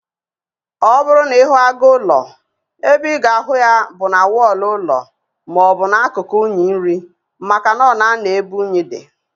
Ọbụrụ na ịhụ agụ ụlọ, ebe ịga ahụ ya bụ na wọlụ ụlọ maọbụ na akụkụ unyi nri, maka na ọ na anọ ebe unyi dị